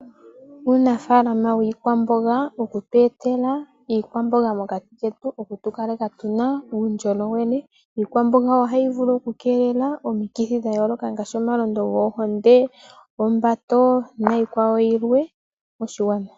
Uunafalama wiikwamboga okutu etela iikwamboga mokati ketu okutu kaleka tuna uundjolowele. Iikwamboga ohayi vulu oku keelela omikithi dha yooloka ngaashi omalondo gombinzi ,ombato niikwawo yilwe moshigwana.